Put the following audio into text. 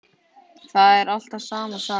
Það er alltaf sama sagan.